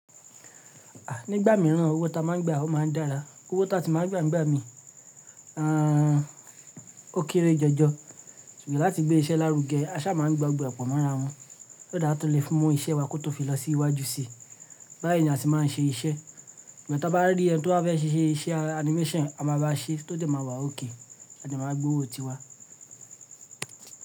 A, nígbà mìíràn owó tá a máa ń gba ọ́ máa ń dára, owó táa si máa ń gba nígbà mí, à, ó kéré jọjọ. Ṣùgbọ́n láti gbé iṣẹ́ lárugẹ, aṣá máa ń gba gbogbo e po mọ́ra wọn. So that a tu lè fún, mu iṣẹ́ wá kó tó fi lọ sí iwájú síi. Báyìí ni a se máa ń ṣe iṣẹ́. Igba ti a bá rí ẹni tí ó fẹ́ ṣe iṣẹ́ animation, a máa bá ṣe, tó dẹ máa wà okay a dẹ máa gbowó ti wa.